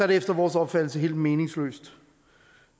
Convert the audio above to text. det efter vores opfattelse helt meningsløst